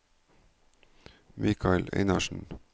Mikael Einarsen